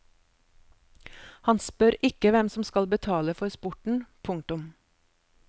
Han spør ikke hvem som skal betale for sporten. punktum